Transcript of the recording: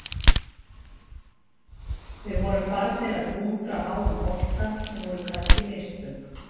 Við vorum farnir að dúndra háum bolta sem voru kannski mistök.